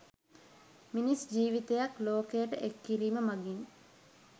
මිනිස් ජිවිතයක් ලෝකයට එක් කිරීම මගින්